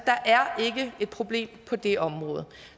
ikke et problem på det område